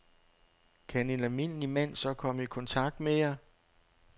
Kan en almindelig mand så komme i kontakt med jer?